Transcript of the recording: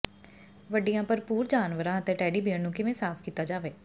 ਵੱਡੀਆਂ ਭਰਪੂਰ ਜਾਨਵਰਾਂ ਅਤੇ ਟੈਡੀ ਬੇਅਰ ਨੂੰ ਕਿਵੇਂ ਸਾਫ ਕੀਤਾ ਜਾਵੇ